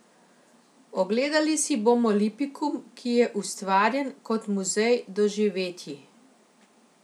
Ogledali si bomo Lipikum, ki je ustvarjen kot muzej doživetji.